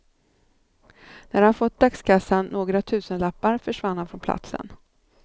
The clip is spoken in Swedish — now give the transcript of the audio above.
När han fått dagskassan, några tusenlappar, försvann han från platsen.